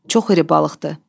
Çox iri balıqdır.